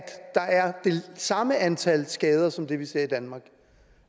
der er det samme antal skader som vi ser i danmark